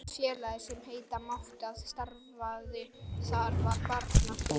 Eina félagið, sem heita mátti að starfaði þar, var Barnastúkan.